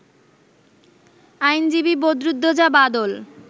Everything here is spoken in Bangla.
আইনজীবী বদরুদ্দোজা বাদল